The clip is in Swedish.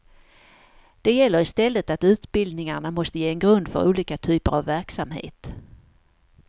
Det gäller i stället att utbildningarna måste ge en grund för olika typer av verksamhet.